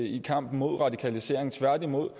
i kampen mod radikalisering tværtimod